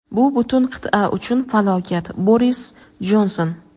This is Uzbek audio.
Bu butun qit’a uchun falokat – Boris Jonson.